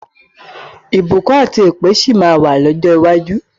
Ìbùkún àti èpè sì máa wà lọ́jọ́ iwájú.